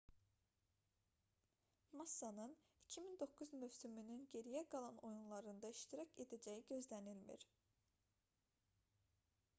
massanın 2009 mövsümünün geriyə qalan oyunlarında iştirak edəcəyi gözlənilmir